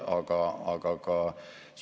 Avan neid nelja teemat nüüd veidikene pikemalt.